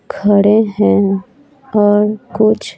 खड़े हैं और कुछ--